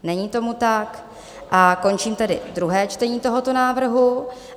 Není tomu tak a končím tedy druhé čtení tohoto návrhu.